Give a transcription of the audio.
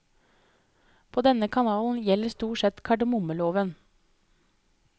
På denne kanalen gjelder stort sett kardemommeloven.